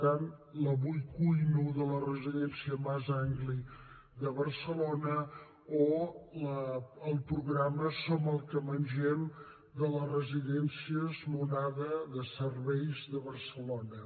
l’ avui cuino jo de la residència mas d’anglí de barcelona o el programa som el que mengem de la residència l’onada de barcelona